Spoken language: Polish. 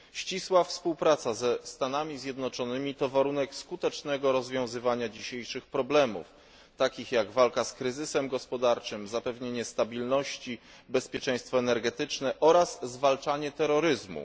Ścisła współpraca ze Stanami Zjednoczonymi to warunek skutecznego rozwiązywania dzisiejszych problemów, takich jak walka z kryzysem gospodarczym, zapewnienie stabilności, bezpieczeństwo energetyczne oraz zwalczanie terroryzmu.